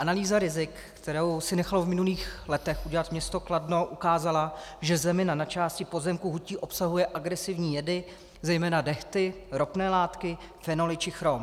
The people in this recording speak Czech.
Analýza rizik, kterou si nechalo v minulých letech udělat město Kladno, ukázala, že zemina na části pozemku hutí obsahuje agresivní jedy, zejména dehty, ropné látky, fenoly či chrom.